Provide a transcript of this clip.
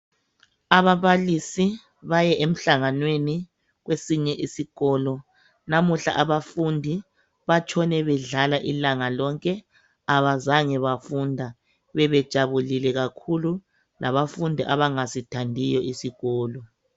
Ababalisi baye emhlanganweni kwesinye isikolo namuhla abafundi batshone bedlala ilanga lonke abazange bafunda bebejabulile kakhulu labafundi abangasithandiyo isikolo